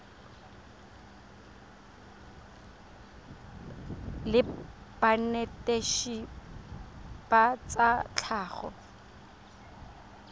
la banetetshi ba tsa tlhago